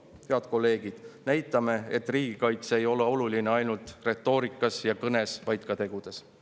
Head kolleegid, näitame, et riigikaitse ei ole oluline ainult retoorikas ja kõnes, vaid ka tegudes!